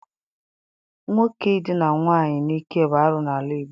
Nwoke Idina nwaanyị n'ike bụ arụ n'ala Igbo.